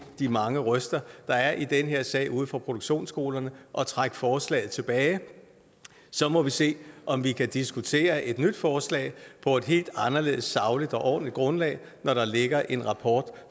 de mange røster der er i den her sag ude fra produktionsskolerne og trække forslaget tilbage så må vi se om vi kan diskutere et nyt forslag på et helt anderledes sagligt og ordentligt grundlag når der ligger en rapport